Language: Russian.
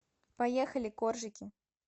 поехали коржики